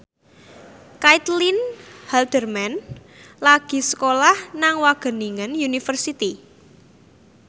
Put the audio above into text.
Caitlin Halderman lagi sekolah nang Wageningen University